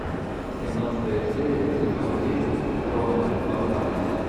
семнадцатая серия сезон десять трона восстание